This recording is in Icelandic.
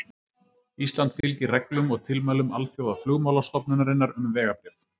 Ísland fylgir reglum og tilmælum Alþjóðaflugmálastofnunarinnar um vegabréf.